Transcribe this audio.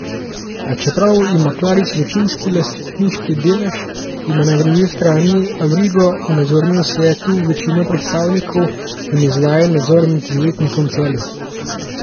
A čeprav ima Klarič večinski lastniški delež, ima na drugi strani Avrigo v nadzornem svetu večino predstavnikov in izvaja nadzor nad Izletnikom Celje.